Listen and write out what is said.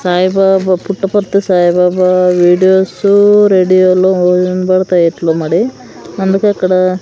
Saibaba Puttaparthi Saibaba videos రేడియోలో వినపడతాయి ఎట్లో మరి అందుకే అక్కడ.